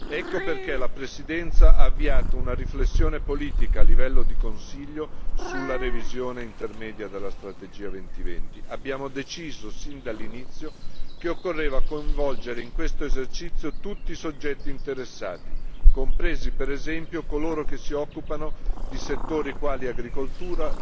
Ecco perché la Presidenza ha avviato una riflessione politica a livello di Consiglio sulla revisione intermedia della strategia Europa 2020. Abbiamo deciso sin dall'inizio che occorreva coinvolgere in questo esercizio tutti i soggetti interessati, compresi per esempio coloro che si occupano di settori quali agricoltura,